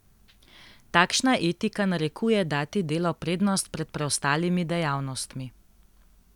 Takšna etika narekuje dati delu prednost pred preostalimi dejavnostmi.